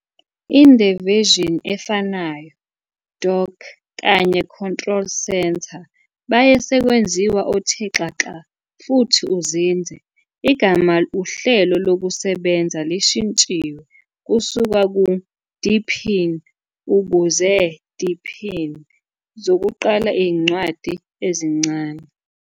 In the version efanayo Dock kanye control centre baye sekwenziwe othe xaxa futhi uzinze. Igama uhlelo lokusebenza lishintshiwe kusuka "Deepin" ukuze "deepin", zokuqala incwadi ezincane.